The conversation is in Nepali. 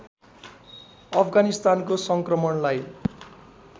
अफगानिस्तानको सङ्क्रमणलाई